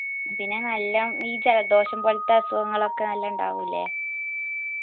പിന്നെ നല്ലോം ഈ ജലദോഷം പോൽത്തെ അസുഖങ്ങളൊക്കെ നല്ലോ ഇണ്ടാവൂലെ